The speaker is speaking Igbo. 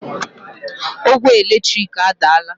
Ogwe eletrik adaala